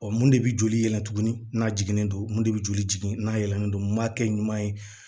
mun de bɛ joli yɛlɛ tugunni n'a jiginn'o mun de bɛ joli jigin n'a yɛlɛnnen don m'a kɛ ɲuman ye